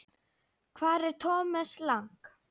Hvar er Thomas Lang?